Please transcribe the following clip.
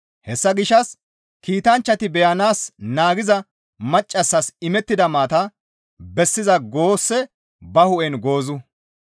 Hessa gishshas kiitanchchati beyanaas naagiza maccassas imettida maata bessiza goosse ba hu7en goozu.